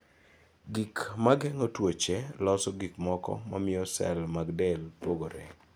Gik ma geng�o tuoche loso gik moko mamiyo sel mag del pogore.